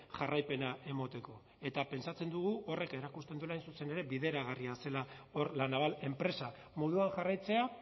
jarraipena emateko eta pentsatzen dugu horrek erakusten duela hain zuzen ere bideragarria zela hor la naval enpresa moduan jarraitzea